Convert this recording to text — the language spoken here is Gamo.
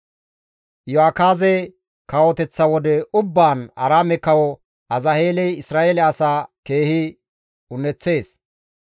Iyo7akaaze kawoteththa wode ubbaan Aaraame kawo Azaheeley Isra7eele asaa keehi un7eththees.